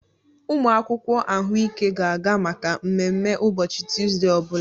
Umụ akwụkwọ ahụike ga-aga maka mmemme ụbọchị Tuzdee ọ bụla.